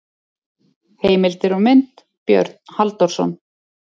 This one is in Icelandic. Heimildir og mynd: Björn Halldórsson.